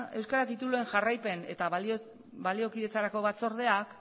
euskara tituluen jarraipen eta baliokidetzarako batzordeak